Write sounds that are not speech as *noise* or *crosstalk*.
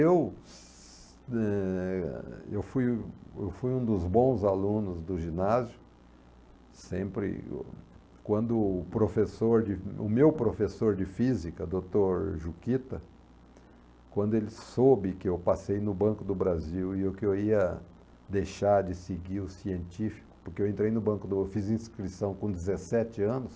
Eu *unintelligible* eh, e eu fui um eu fui um dos bons alunos do ginásio, sempre, quando o professor de, o meu professor de física, doutor Juquita, quando ele soube que eu passei no Banco do Brasil e que eu ia deixar de seguir o científico, porque eu entrei no Banco do, eu fiz inscrição com dezessete anos